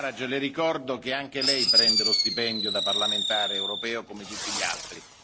Farage, le ricordo che anche lei prende lo stipendio da parlamentare europeo, come tutti gli altri.